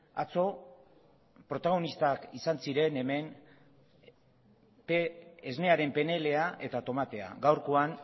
atzo protagonistak izan ziren hemen esnearen pnla eta tomatea gaurkoan